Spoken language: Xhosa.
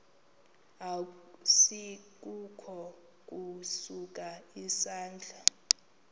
asikukho ukusa isandla